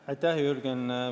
Aitäh, Jürgen!